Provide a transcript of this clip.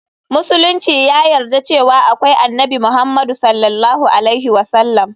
Musulunci ya yarda cewa akwai Annabi Muhammadu S.A.W.